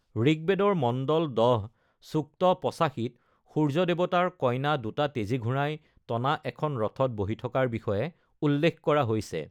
ঋগ্বেদৰ মণ্ডল ১০, সূক্ত ৮৫ত সূৰ্য দেৱতাৰ কইনা দুটা তেজী ঘোঁৰাই টনা এখন ৰথত বহি থকাৰ বিষয়ে উল্লেখ কৰা হৈছে।